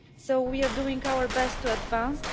So we are doing our best to advance.